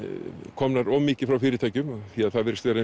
komnar of mikið frá fyrirtækjum því að það virðist vera